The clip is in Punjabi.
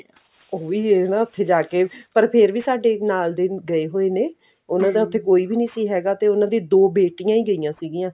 ਉਹ ਵੀ ਉੱਥੇ ਜਾ ਕਿ ਪਰ ਫ਼ੇਰ ਸਾਡੇ ਨਾਲ ਦੇ ਗਏ ਹੋਏ ਨੇ ਦਾ ਉੱਥੇ ਕੋਈ ਵੀ ਨਹੀ ਸੀ ਹੈ ਤੇ ਉਹਨਾਂ ਦੀਆਂ ਦੋ ਬੇਟੀਆਂ ਹੀ ਗਈਆਂ ਸੀਗੀਆਂ